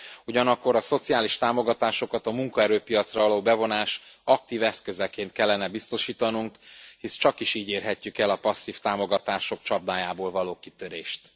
Ugyanakkor a szociális támogatásokat a munkaerőpiacra való bevonás aktív eszközeként kellene biztosítanunk, hisz csakis így érhetjük el a passzív támogatások csapdájából való kitörést.